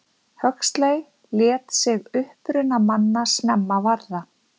huxley lét sig uppruna manna snemma varða